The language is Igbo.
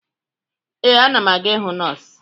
Ee, ana m aga ịhụ nọọsụ